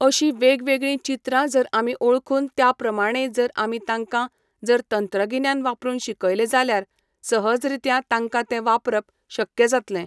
अशीं वेगवेगळीं चित्रां जर आमी ओळखून त्या प्रमाणें जर आमी तांकां जर तंत्रगिन्यान वापरूंक शिकयलें जाल्यार सहज रित्या तांकां तें वापरप शक्य जातलें.